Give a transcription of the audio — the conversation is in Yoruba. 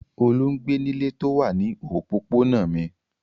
Olú ń gbé nílé tó wà ní òpópónà mi.